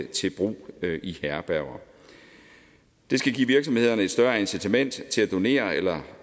til brug i herberger det skal give virksomhederne et større incitament til at donere eller